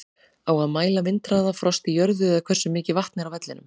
Á að mæla vindhraða, frost í jörðu eða hversu mikið vatn er á vellinum?